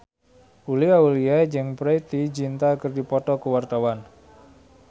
Uli Auliani jeung Preity Zinta keur dipoto ku wartawan